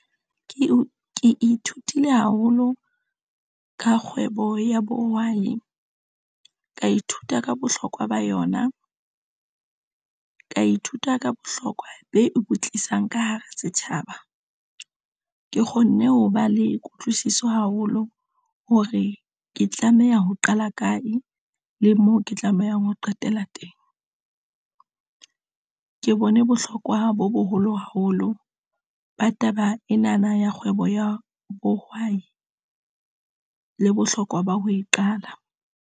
Ke ithutile haholo ka kgwebo ya bohwai ka ithuta ka bohlokwa ba yona, ka ithuta ka bohlokwa be ebotlisang ka hara setjhaba. Ke kgonne ho ba le kutlwisiso haholo hore ke tlameha ho qala kae le moo ke tlamehang ho qetela teng. Ke bone bohlokwa bo boholo haholo ba taba ena na ya kgwebo ya bohwai le bohlokwa ba ho e qala.